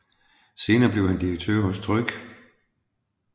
Senere blev han direktør hos Tryg